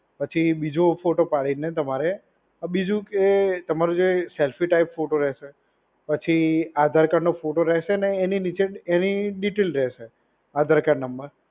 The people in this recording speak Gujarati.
પછી બીજો ફોટો પાડીને તમારે બીજું કે તમારે જે સેલ્ફી ટાઈપ ફોટો રહેશે. પછી આધાર કાર્ડનો ફોટો રહેશે અને એની નીચે એની ડીટેલ રહેશે. Aadhaar card number,